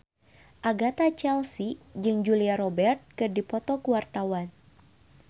Agatha Chelsea jeung Julia Robert keur dipoto ku wartawan